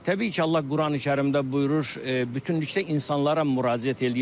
Təbii ki, Allah Qurani-Kərimdə buyurur, bütünlükdə insanlara müraciət eləyir.